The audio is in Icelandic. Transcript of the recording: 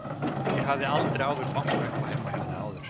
Ég hafði aldrei áður bankað upp á heima hjá henni áður.